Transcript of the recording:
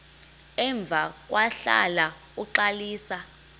emva kwahlala uxalisa